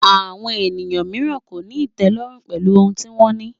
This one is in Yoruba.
Àwọn ènìyàn mìíràn kò ní ìtẹ́lọ́rùn pẹ̀lú ohun tí wọ́n ní